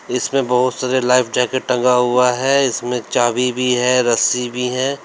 इसमें बोहोत सारे लाइफ जैकेट टंगा हुआ है इसमें चाभी भी है रस्सी भी है।